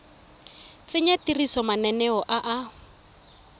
tsenya tirisong mananeo a a